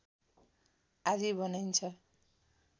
आदि बनाइन्छ